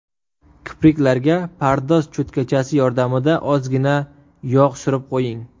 Kipriklarga pardoz cho‘tkachasi yordamida ozgina yog‘ surib qo‘ying.